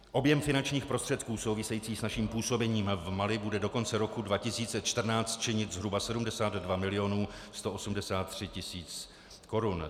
Objem finančních prostředků související s naším působením v Mali bude do konce roku 2014 činit zhruba 72 milionů 183 tisíc korun.